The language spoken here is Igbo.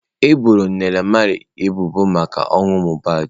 E boro Naira Marley ebubo maka ọnwụ Mohbad.